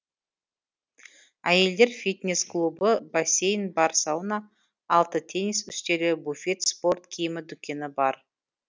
әйелдер фитнес клубы бассейні бар сауна алты теннис үстелі буфет спорт киімі дүкені бар